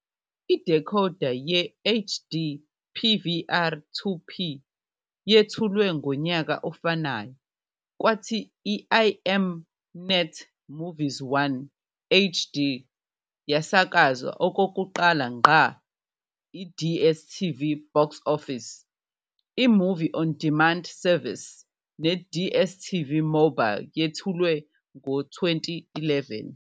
Idecoder ye-HD PVR 2P yethulwe ngonyaka ofanayo kwathi iM-NET Movies 1 HD yasakazwa okokuqala ngqa. IDStv BoxOffice, i-movie on demand service, neDStv Mobile yethulwe ngo-2011.